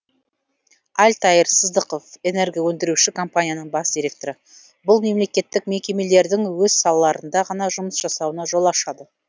альтаир сыздықов энергоөндіруші компанияның бас директоры бұл мемлекеттік мекемелердің өз салаларында ғана жұмыс жасауына жол ашады